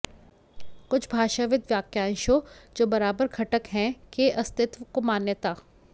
कुछ भाषाविद् वाक्यांशों जो बराबर घटक हैं के अस्तित्व को मान्यता